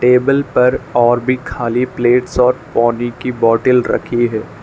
Table पर और भी खाली प्लेट्स और पानी की बॉटेल रखी है।